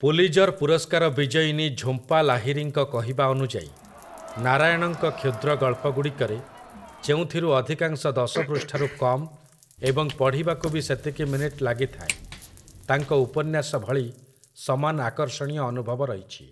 Pulitzer ପୁରସ୍କାର ବିଜୟିନୀ ଝୁମ୍ପା ଲାହିରୀଙ୍କ କହିବା ଅନୁଯାୟୀ, ନାରାୟଣଙ୍କ କ୍ଷୁଦ୍ର ଗଳ୍ପଗୁଡ଼ିକରେ, ଯେଉଁଥିରୁ ଅଧିକାଂଶ ଦଶ ପୃଷ୍ଠାରୁ କମ୍ ଏବଂ ପଢ଼ିବାକୁ ବି ସେତିକି ମିନିଟ୍ ଲାଗିଥାଏ, ତାଙ୍କ ଉପନ୍ୟାସ ଭଳି ସମାନ ଆକର୍ଷଣୀୟ ଅନୁଭବ ରହିଛି ।